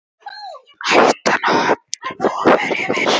Hættan á höfnun vofir yfir.